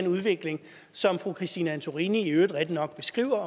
udvikling som fru christine antorini i øvrigt rigtigt nok beskriver